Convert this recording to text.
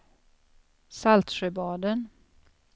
Saltsjöbaden